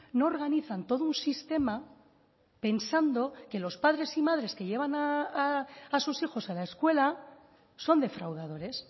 no organizan todo un sistema pensando que los padres y madres que llevan a sus hijos a la escuela son defraudadores